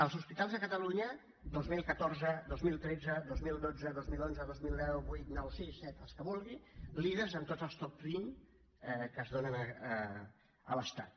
els hospitals a catalunya dos mil catorze dos mil tretze dos mil dotze dos mil onze dos mil deu vuit nou sis set els que vulgui líders en tots els top vint que es donen a l’estat